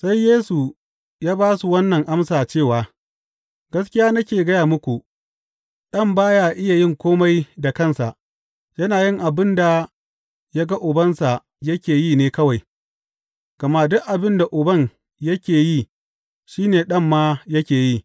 Sai Yesu ya ba su wannan amsa cewa, Gaskiya nake gaya muku, Ɗan ba ya iya yin kome da kansa; yana yin abin da ya ga Ubansa yake yi ne kawai, gama duk abin da Uban yake yi shi ne Ɗan ma yake yi.